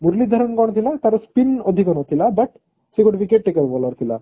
ମୂରଲୀ ଧରାନ କଣ ଥିଲା ତାର spin ଅଧିକ ନଥିଲା but ସେ ଗୋଟେ wicket taker bowler ଥିଲା